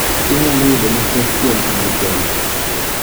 Inyalo yudo mathoth kuom andike ni.